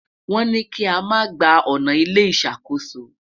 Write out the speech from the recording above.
wón ní i kí ama gbà ọnà ilé ìṣàkóso